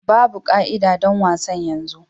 Babu ka'ida don wasan yanzu.